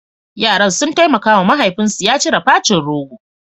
Yaran sun taimaka wa mahaifinsu ya cire facin rogo.